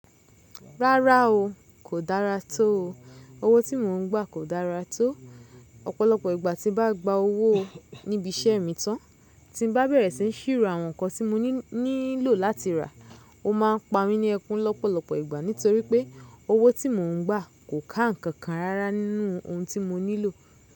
Rárá o. Kò dára tó o. Owó tí mò ń gbà kò dára tó o. Ọ̀pọ̀lọpọ̀ ìgbà tí ń bá gba owó níbi isẹ́ mi tán, tí ń bá bẹ̀rẹ̀ sí ní sìrò àwọn nǹkan tí mo nílò láti rà, o máa ń pamí ní ẹkún lọ́pọ̀lọpọ̀ ìgbà nítorí pé owó tí mò ń gbà kò ká ǹkan kan rárá nínú ohun tí mo nílò.